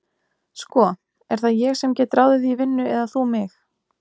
Sko, er það ég sem get ráðið þig í vinnu eða þú mig?